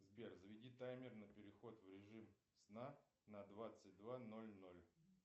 сбер заведи таймер на переход в режим сна на двадцать два ноль ноль